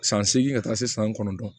San seegin ka taa se san kɔnɔntɔn